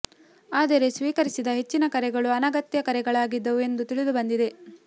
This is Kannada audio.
ಆದರೆ ಸ್ವೀಕರಿಸಿದ ಹೆಚ್ಚಿನ ಕರೆಗಳು ಅನಗತ್ಯ ಕರೆಗಳಾಗಿದ್ದವು ಎಂದು ತಿಳಿದು ಬಂದಿದೆ